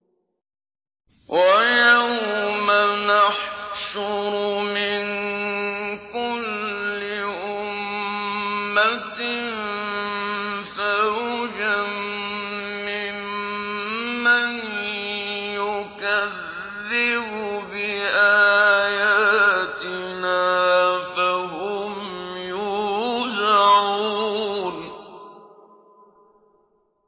وَيَوْمَ نَحْشُرُ مِن كُلِّ أُمَّةٍ فَوْجًا مِّمَّن يُكَذِّبُ بِآيَاتِنَا فَهُمْ يُوزَعُونَ